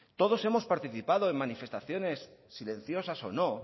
todos hemos participados en manifestaciones silenciosas o no